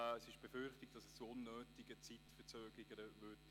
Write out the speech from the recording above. Es wird befürchtet, dass es zu unnötigen Zeitverzögerungen käme.